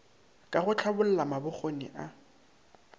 ka go hlabolla mabokgoni a